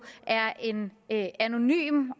er en anonym